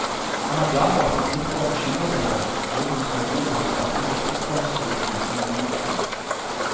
Han er glad for at han slipper å bekymre seg for hvor han skal bo når han starter markedsføringsstudiene om noen uker.